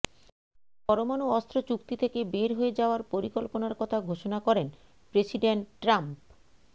পরমাণু অস্ত্র চুক্তি থেকে বের হয়ে যাওয়ার পরিকল্পনার কথা ঘোষণা করেন প্রেসিডেন্ট ট্রাম্প